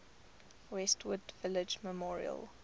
westwood village memorial